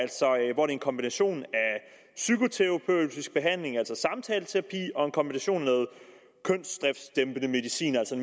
en kombination af psykoterapeutisk behandling altså samtaleterapi og kønsdriftdæmpende medicin altså